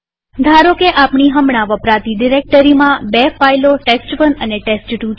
ધારોકે આપણી હમણાં વપરાતી ડિરેક્ટરીમાં બે ફાઈલોtest1 અને ટેસ્ટ2 છે